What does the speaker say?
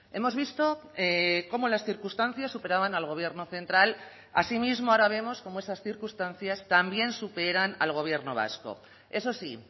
hemos visto cómo las circunstancias superaban al gobierno central asimismo ahora vemos cómo esas circunstancias también superan al gobierno vasco eso sí